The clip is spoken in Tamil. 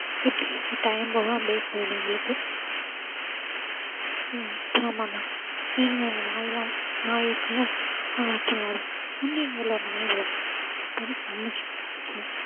இப்படியே time போகும் அப்படியே போயிடும் எங்களுக்கு ஹம் ஆமா அண்ணா நாயெல்லாம் நாய் இருக்குல்ல அத வச்சு விளையாடுவோம் ஒரு நாய் வளர்த்தோம் அது செம cute ஆ இருக்கும்